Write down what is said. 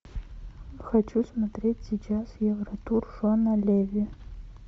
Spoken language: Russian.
хочу смотреть сейчас евротур шона леви